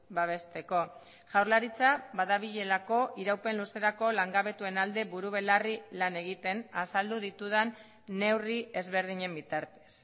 babesteko jaurlaritza badabilelako iraupen luzerako langabetuen alde buru belarri lan egiten azaldu ditudan neurri ezberdinen bitartez